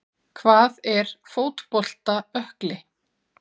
Hvað er fótbolta ökkli?